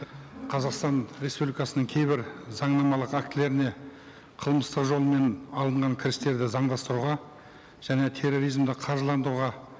қазақстан республикасының кейбір заңнамалық актілеріне қылмыстық жолмен алынған кірістерді заңдастыруға және терроризмді қаржыландыруға